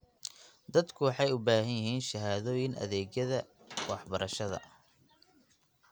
Dadku waxay u baahan yihiin shahaadooyin adeegyada waxbarashada.